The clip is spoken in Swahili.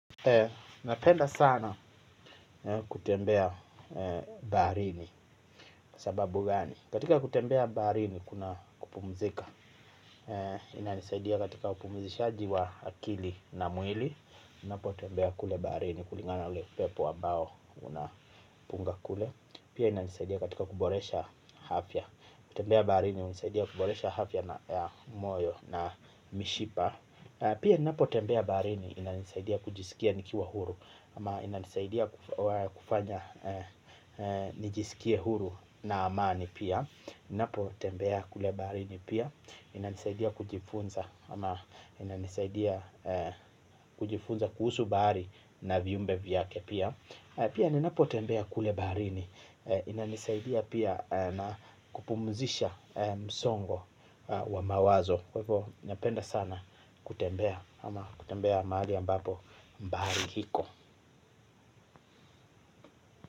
Napenda sana kutembea baharini kwa sababu gani. Katika kutembea baharini kuna kupumzika. Inanisaidia katika upumzishaji wa akili na mwili ninapotembea kule baharini kulingana ule upepo ambao unapunga kule. Pia inanisaidia katika kuboresha afya kutembea baharini hunisaidia kuboresha afya ta moyo na mishipa. Pia ninapotembea baharini inanisaidia kujisikia nikiwa huru. Ama inanisaidia kufanya nijisikie huru na amani pia ninapotembea kule baharini pia. Inanisaidia kujifunza. Ama inanisaidia kujifunza kuhusu bahari na viumbe vyake pia. Pia ninapotembea kule baharini inanisaidia pia na kupumzisha msongo wa mawazo. Kwa hivyo napenda sana kutembea ama kutembea magali ambapo bahari iko.